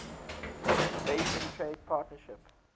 basin trade partnership